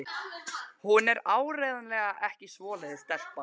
Hún er áreiðanlega ekki svoleiðis stelpa.